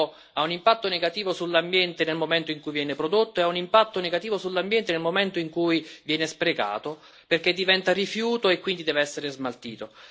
il cibo ha un impatto negativo sull'ambiente nel momento in cui viene prodotto e ha un impatto negativo sull'ambiente nel momento in cui viene sprecato, perché diventa rifiuto e quindi deve essere smaltito.